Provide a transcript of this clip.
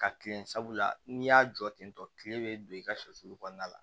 Ka kilen sabula n'i y'a jɔ tentɔ kile be don i ka soli kɔnɔna la